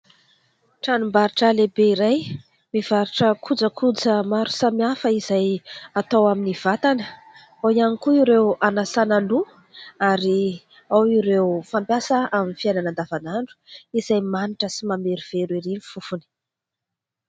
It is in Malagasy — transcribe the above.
Tranom-barotra lehibe iray mivarotra kojakoja maro samihafa izay atao amin'ny vatana, ao ihany koa ireo anasana loha ary ao ireo fampiasa amin'ny fiainana andavanandro izay manitra sy mamerovero ery ny fofony.